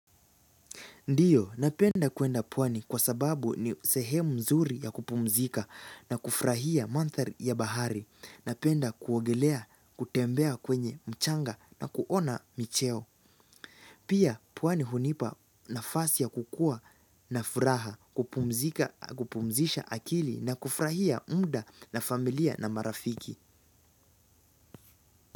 Ndiyo, napenda kuenda pwani kwa sababu ni sehemu nzuri ya kupumzika na kufurahia manthari ya bahari. Napenda kuogelea, kutembea kwenye mchanga na kuona micheo. Pia, pwani hunipa nafasi ya kukua na furaha kupumzisha akili na kufurahia mda na familia na marafiki.